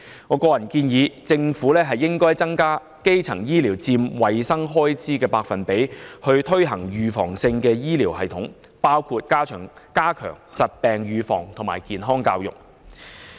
我個人建議政府增加基層醫療佔衞生開支總額的百分比，建立預防性醫療系統，包括加強疾病預防及健康教育。